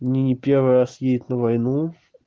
не первый раз едет на войну